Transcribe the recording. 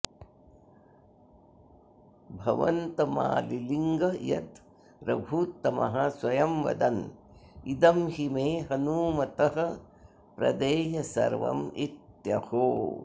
भवन्तमालिलिङ्ग यद् रघूत्तमः स्वयं वदन् इदं हि मे हनूमतः प्रदेयसर्वमित्यहो